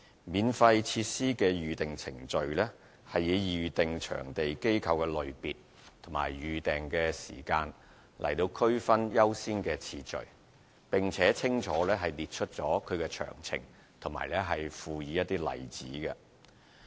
《免費設施的預訂程序》是以預訂場地機構的類別及預訂時間來區分優先次序，並且清楚列出其詳情及附以例子。